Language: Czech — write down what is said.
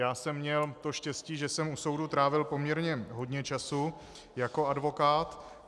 Já jsem měl to štěstí, že jsem u soudu trávil poměrně hodně času jako advokát.